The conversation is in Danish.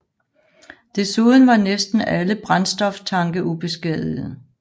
Desuden var næsten alle brændstoftanke ubeskadigede